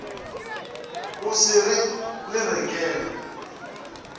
o se re le rekela